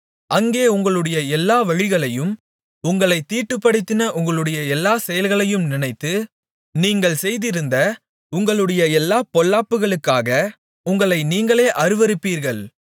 அங்கே உங்களுடைய எல்லா வழிகளையும் உங்களைத் தீட்டுப்படுத்தின உங்களுடைய எல்லாச் செயல்களையும் நினைத்து நீங்கள் செய்திருந்த உங்களுடைய எல்லாப் பொல்லாப்புகளுக்காக உங்களை நீங்களே அருவருப்பீர்கள்